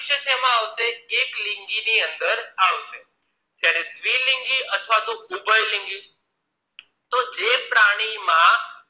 શેમાં આવશે એક લિંગી ની અંદર આવશે જયારે દ્વિલિંગી અથવા ઉભયલિંગી તો જે પ્રાણીમાં